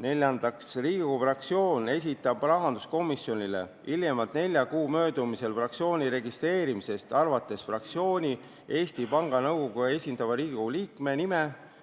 Neljandaks, Riigikogu fraktsioon esitab rahanduskomisjonile hiljemalt nelja kuu möödumisel fraktsiooni registreerimisest alates vastavat fraktsiooni Eesti Panga Nõukogus esindava Riigikogu liikme nime